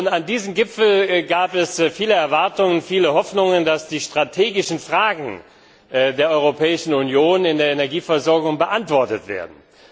An diesen Gipfel gab es viele Erwartungen, es gab viele Hoffnungen, dass die strategischen Fragen der Europäischen Union in der Energieversorgung beantwortet werden.